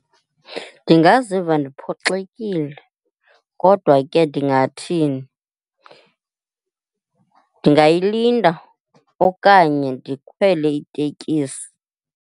Ndingaziva ndiphoxile kodwa ke ndingathini? Ndingayilinda okanye ndikhwele itekisi.